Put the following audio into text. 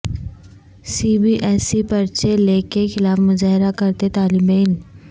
سی B S E پرچہ leak کے خلاف مظاہرہ کرتے طالب علم